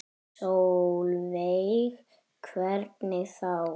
Sólveig: Hvernig þá?